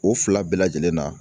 O fila bɛɛ lajɛlen na